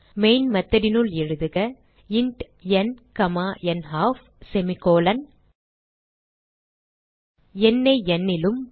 main method னுள் எழுதுக int ந் நல்ஃப் எண்ணை n லும்